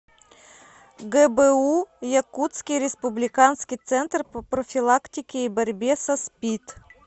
гбу якутский республиканский центр по профилактике и борьбе со спид